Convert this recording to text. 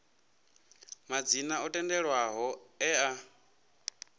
madzina o tendelwaho e a